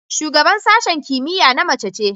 Shugaban sashen kimiyya na mace ce.